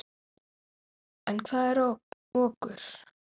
En hvað er okur?